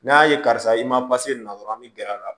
N'a ye karisa i ma pase na dɔrɔn an bɛ gɛrɛ a la